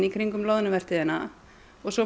kringum loðnuvertíðina og svo